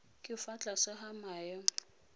ka fa tlase ga maemo